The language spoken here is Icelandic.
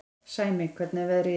Sæmi, hvernig er veðrið í dag?